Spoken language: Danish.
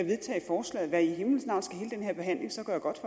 vedtage for slaget hvad i himlens navn skal hele denne her behandling så gøre godt